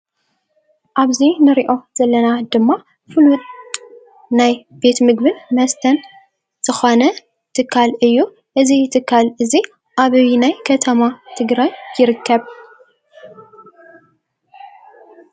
አብዚ ንሪኦ ዘለና ድማ ፍሉጥ ናይ ቤት ምግብን መስተን ዝኾነ ትካል እዩ ። እዚ ትካል እዚ አበየናይ ከተማ ትግራይ ይርከብ?